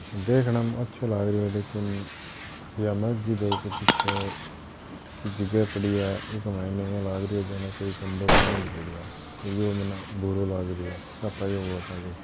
देखने मे अच्छों लाग रो है लेकिन या मस्जिद है ई के पीछे की जिगह पड़ी है इक माइन इया लागरों जाने कोई गंदों पानी भरेडों है तो या मने बुरों लागरों है सफाई --